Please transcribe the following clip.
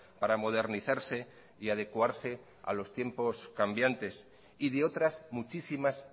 para modernizarse y adecuarse a los tiempos cambiantes y de otras muchísimas